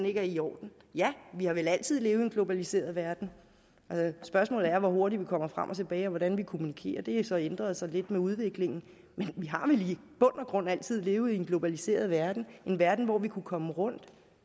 ikke er i orden ja vi har vel altid levet i en globaliseret verden spørgsmålet er hvor hurtigt vi kommer frem og tilbage og hvordan vi kommunikerer det har så ændret sig lidt med udviklingen men vi har vel i bund og grund altid levet i en globaliseret verden en verden hvor vi kunne komme rundt